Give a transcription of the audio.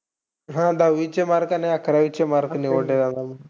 हा, दहावीचे mark आणि अकरावीचे mark निवडले जाणार.